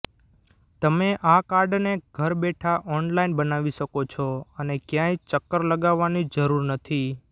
તમે આ કાર્ડને ઘર બેઠાં ઓનલાઇન બનાવી શકો છો અને ક્યાંય ચક્કર લગાવવાની જરૂર નથી